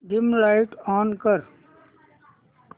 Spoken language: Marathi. डिम लाइट ऑन कर